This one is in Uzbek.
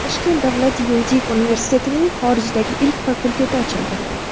Toshkent davlat yuridik universitetining xorijdagi ilk fakulteti ochildi.